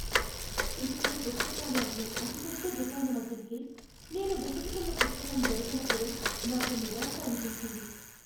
సిటీలో పుస్తకాలు అమ్మే అతిపెద్ద దుకాణం అతనికే నేను వెతుకుతున్న పుస్తకం దొరకనప్పుడు నాకు నిరాశ అనిపించింది.